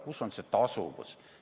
Kus on see tasuvus?